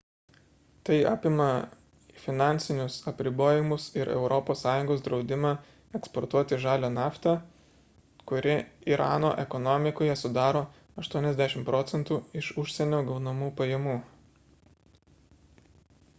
tai apima finansinius apribojimus ir europos sąjungos draudimą eksportuoti žalią naftą kuri irano ekonomikoje sudaro 80 proc. iš užsienio gaunamų pajamų